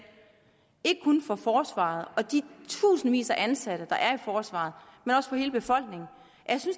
ikke kun for forsvaret og de tusindvis af ansatte der er i forsvaret men også for hele befolkningen at